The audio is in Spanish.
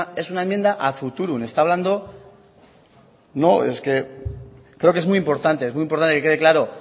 es una enmienda ad futurum es que creo que es muy importante que quede claro